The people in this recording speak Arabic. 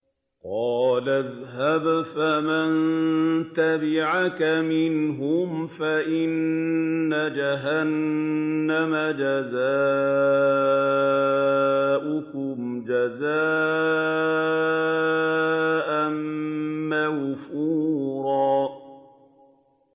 قَالَ اذْهَبْ فَمَن تَبِعَكَ مِنْهُمْ فَإِنَّ جَهَنَّمَ جَزَاؤُكُمْ جَزَاءً مَّوْفُورًا